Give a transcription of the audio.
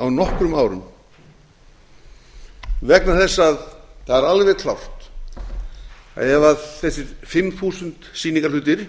á nokkrum árum vegna þess að það er alveg klárt að ef þessir fimm þúsund sýningarhlutir